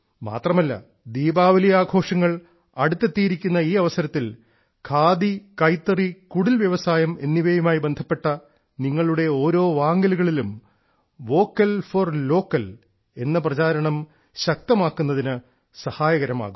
മാത്രമല്ല ദീപാവലി ആഘോഷങ്ങൾ അടുത്തിരിക്കുന്ന ഈ അവസരത്തിൽ ഖാദി കൈത്തറി കുടിൽവ്യവസായം എന്നിവയുമായി ബന്ധപ്പെട്ട നിങ്ങളുടെ ഓരോ വാങ്ങലുകളിലും വോക്കൽ ഫോർ ലോക്കൽ എന്ന പ്രചാരണം ശക്തമാക്കുന്നതിന് സഹായകരമാകും